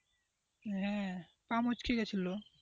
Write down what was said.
হ্যাঁ পা মুচকে গেছিল।